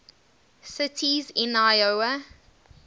cities in iowa